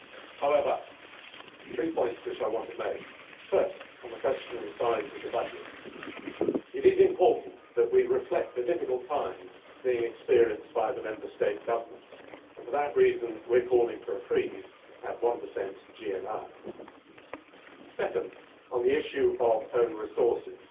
However, there are three points which I want to make firstly on the question of the size of the budget. It is important that we reflect the difficult times being experienced by the Member State governments, and for that reason we are calling for a freeze at 1 GNI. Secondly, on the issue of own resources